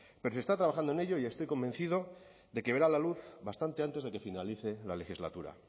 pero se está trabajando en ello y estoy convencido de que verá la luz bastante antes de que finalice la legislatura